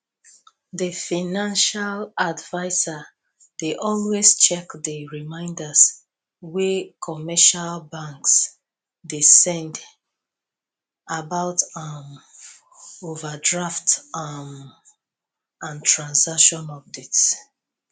di financial advisor dey always check di reminders wey commercial banks dey send about um overdraft um and transaction updates